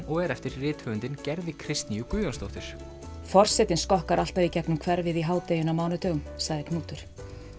og er eftir rithöfundinn Gerði Kristnýju Guðjónsdóttur forsetinn skokkar alltaf í gegnum hverfið í hádeginu á mánudögum sagði Knútur